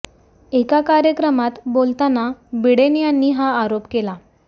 एका कार्यक्रमात बोलताना बिडेन यांनी हा आरोप केला